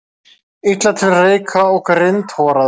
Illa til reika og grindhoraður.